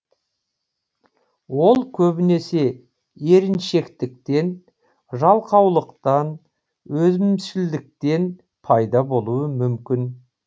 ол көбінесе еріншектіктен жалқаулықтан өзімшілдіктен пайда болуы мүмкін